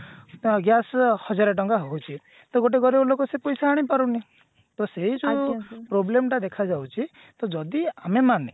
gas ର ହଜାରେ ଟଙ୍କା ହଉଛି ତ ଗଟ ଗରିବ ଲୋକ ସେ ପଇସା ଆଣିପାରୁନି ତ ସେଇ ଯୋଉ problem ଟା ଦେଖାଯାଉଛି ତ ଯଦି ଆମେ ମାନେ